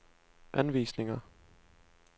anvisninger